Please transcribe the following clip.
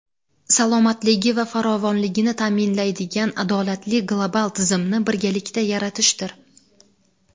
salomatligi va farovonligini ta’minlaydigan adolatli global tizimni birgalikda yaratishdir.